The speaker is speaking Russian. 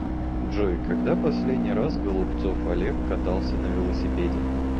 джой когда последний раз голубцов олег катался на велосипеде